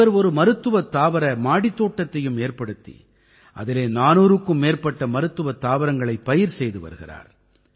இவர் ஒரு மருத்துவத் தாவர மாடித் தோட்டத்தையும் ஏற்படுத்தி அதிலே 400க்கும் மேற்பட்ட மருத்துவத் தாவரங்களைப் பயிர் செய்து வருகிறார்